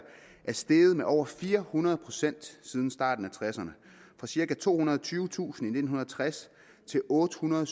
er steget med over fire hundrede procent siden starten af nitten tresserne fra cirka tohundrede og tyvetusind i nitten tres til ottehundrede og